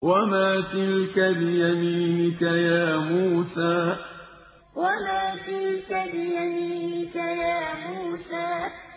وَمَا تِلْكَ بِيَمِينِكَ يَا مُوسَىٰ وَمَا تِلْكَ بِيَمِينِكَ يَا مُوسَىٰ